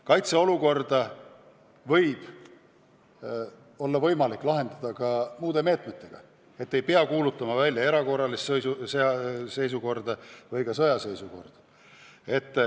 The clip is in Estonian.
Kaitseolukorda võib olla võimalik lahendada ka muude meetmetega, ei pea välja kuulutama erakorralist seisukorda või sõjaseisukorda.